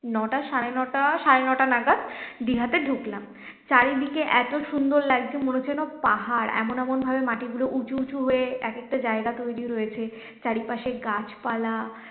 নটা সাড়ে নটা সাড়ে নটা নাগাদ দিঘাতে ঢুকলাম চারিদিকে এত সুন্দর লাগছে মনে হচ্ছে যেন পাহাড় এমন এমন ভাবে মাটিগুলো উচু উঁচু হয়ে এক একটা জায়গা তৈরি হয়েছে চারিপাশে গাছপালা